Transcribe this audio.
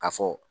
Ka fɔ